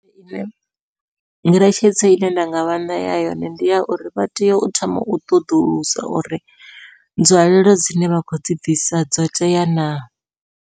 Ngeletshedzo ine nda nga vha ṋea yone ndi ya uri vha tea u thoma u ṱoḓulusa uri nzwalelo dzine vha khou dzi bvisa dzo tea na.